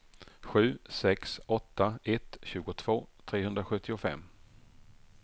sju sex åtta ett tjugotvå trehundrasjuttiofem